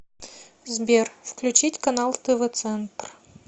сбер включить канал тв центр